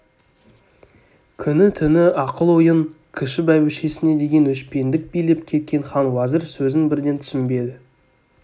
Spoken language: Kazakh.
күні-түні ақыл-ойын кіші бәйбішесіне деген өшпендік билеп кеткен хан уәзір сөзін бірден түсінбеді